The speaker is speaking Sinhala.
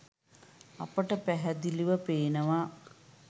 අපිට පැහැදිලිව පේනවා